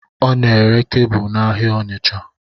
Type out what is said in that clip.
Ọ n'ere kebụl n'ahịa Ọnitsha